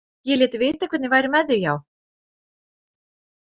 Ég lét vita hvernig væri með þig, já.